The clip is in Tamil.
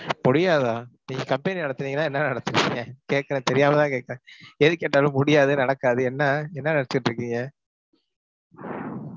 முடியாதா? நீங்க company நடத்துறீங்களா என்ன நடத்தறீங்க? கேட்குறேன் தெரியாமதான் கேட்கிறேன். எது கேட்டாலும் முடியாது, நடக்காது. என்ன, என்ன நினைச்சுட்டு இருக்கீங்க?